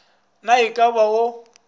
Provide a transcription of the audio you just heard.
na e ka ba o